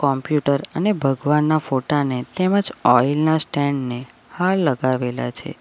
Computer અને ભગવાનના ફોટા ને તેમજ ઓઇલ ના સ્ટેન્ડ ને હાર લગાવેલા છે.